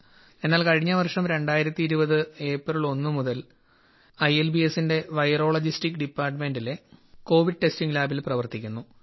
എന്നാൽ കഴിഞ്ഞ വർഷം 2020 ഏപ്രിൽ ഒന്നു മുതൽ ഐ എൽ ബി എസിന്റെ വൈറോളജി ഡിപ്പാർട്ട്മെന്റിലെ കോവിഡ് ടെസ്റ്റിംഗ് ലാബിൽ പ്രവർത്തിക്കുന്നു